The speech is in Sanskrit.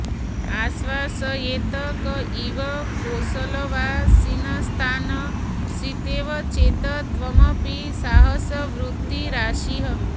आश्वासयेत् क इव कोसलवासिनस्तान् सीतेव चेत् त्वमपि साहसवृत्तिरासीः